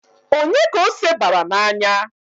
Onye ka ose bara n'anya?